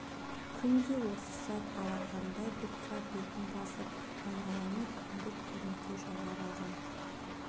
күн де осы сәт алақандай бұлтқа бетін басып айналаны күңгірт көлеңке жайлап алған